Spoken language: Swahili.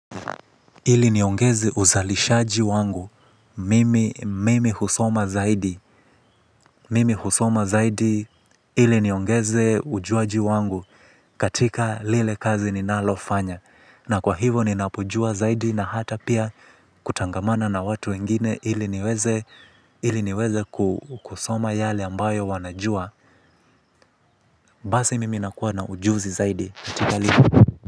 Ili niongeze uzalishaji wangu mimi husoma zaidi mimi husoma zaidi ili niongeze ujuaji wangu katika lile kazi ninalofanya na kwa hivo ninapojua zaidi na hata pia kutangamana na watu wengine ili niweze ili niweze kusoma yale ambayo wanajua. Basi mimi nakuwa na ujuzi zaidi katika lile.